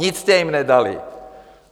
Nic jste jim nedali.